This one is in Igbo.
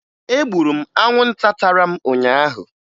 Egburu m anwụnta tara m ụnyaahụ